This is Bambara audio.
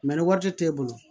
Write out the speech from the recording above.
ni wari t'e bolo